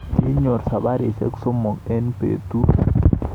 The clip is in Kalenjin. Kinyorwo sabarisyek sosom eng betut